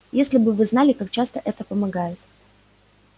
если бы вы знали как часто это помогает